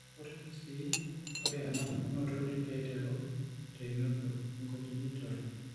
Ore toorkuti kesii, ore enapukunoto netii aiteru teinoto (econgenital).